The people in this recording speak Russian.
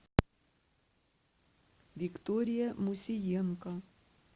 виктория мусиенко